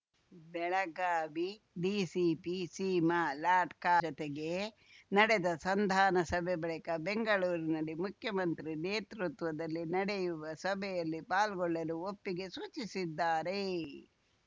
Belagavi DCP Seema Latkar ಜತೆಗೆ ನಡೆದ ಸಂಧಾನ ಸಭೆ ಬಳಿಕ ಬೆಂಗಳೂರಿನಲ್ಲಿ ಮುಖ್ಯಮಂತ್ರಿ ನೇತೃತ್ವದಲ್ಲಿ ನಡೆಯುವ ಸಭೆಯಲ್ಲಿ ಪಾಲ್ಗೊಳ್ಳಲು ಒಪ್ಪಿಗೆ ಸೂಚಿಸಿದ್ದಾರೆ